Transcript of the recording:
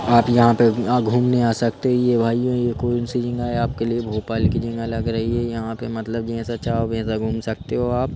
आप यहाँ पे यहाँ घूमने आ सकते हो यह भाइयों यह कौन सी जगह है आपके लिए भोपाल की जगह लग रही है यहाँ पे मतलब जैसा चाहो वैसा घूम सकते हो आप।